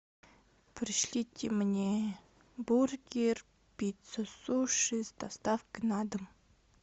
пришлите мне бургер пицца суши с доставкой на дом